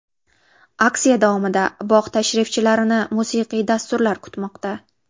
Aksiya davomida bog‘ tashrifchilarini musiqiy dasturlar kutmoqda.